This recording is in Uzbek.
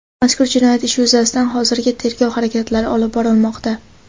Mazkur jinoyat ishi yuzasidan hozirda tergov harakatlari olib borilmoqda.